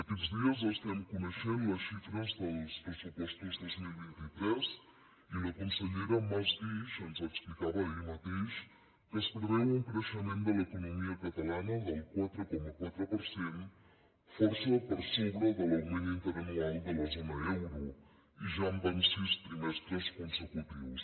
aquests dies estem coneixent les xifres dels pressupostos dos mil vint tres i la consellera mas guix ens explicava ahir mateix que es preveu un creixement de l’economia catalana del quatre coma quatre per cent força per sobre de l’augment interanual de la zona euro i ja són sis trimestres consecutius